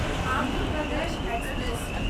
Andhra Pradesh express